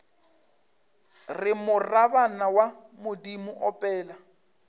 re morabana wa bodimo opela